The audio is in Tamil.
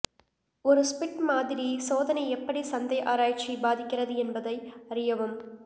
ஒரு ஸ்பிட் மாதிரி சோதனை எப்படி சந்தை ஆராய்ச்சி பாதிக்கிறது என்பதை அறியவும்